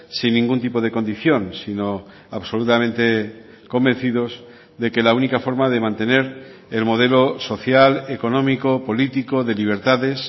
sin ningún tipo de condición sino absolutamente convencidos de que la única forma de mantener el modelo social económico político de libertades